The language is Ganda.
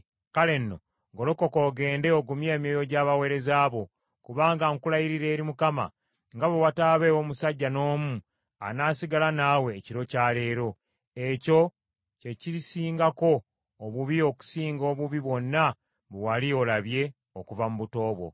Kale nno golokoka ogende ogumye emyoyo gy’abaweereza bo, kubanga nkulayirira eri Mukama , nga bwe wataabeewo musajja n’omu anaasigala naawe ekiro kya leero. Ekyo kye kirisingako obubi okusinga obubi bwonna bwe wali olabye okuva mu buto bwo.”